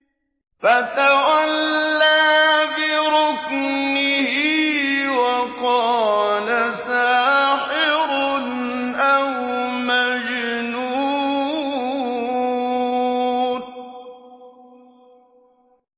فَتَوَلَّىٰ بِرُكْنِهِ وَقَالَ سَاحِرٌ أَوْ مَجْنُونٌ